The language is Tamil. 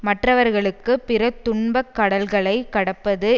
மற்றவர்களுக்கு பிற துன்பக் கடல்களைக் கடப்பது